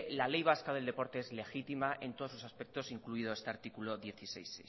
la ley vasco del deporte es legítima en todos sus aspectos incluido este artículo dieciséis